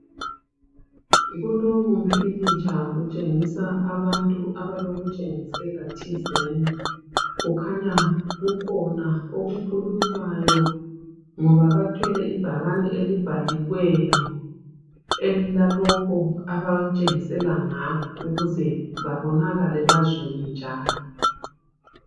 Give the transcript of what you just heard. Kulowumpikitsha kutshengisa abantu abalokutshengisela thizeni. Kukhanya kukhona okukhulunywayo ngoba bathwele ibhakane elibhaliweyo elilalokhu abatshengisela ngakho ukuze babonakale bazwiwe njalo.